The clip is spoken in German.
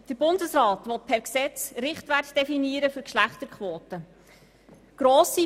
Der Bundesrat will per Gesetz Richtwerte für Geschlechterquoten definieren.